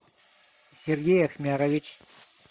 сергей ахмярович